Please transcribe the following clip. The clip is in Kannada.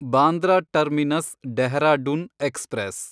Bandra terminus Dehradun express